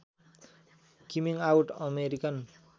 coming out American